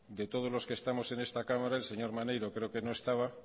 de todos los que estamos en esta cámara el señor maneiro creo que no estaba